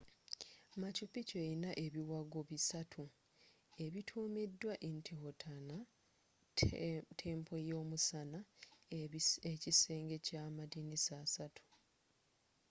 machu picchu eyina ebiwagwo bisatu ebitumiddwa intihuatana temple y'omusana ekisenge kya amadiinisa asaatu